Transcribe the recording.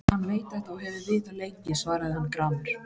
Hann veit þetta og hefur vitað lengi, svaraði hann gramur.